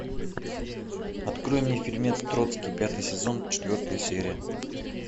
открой мне фильмец троцкий пятый сезон четвертая серия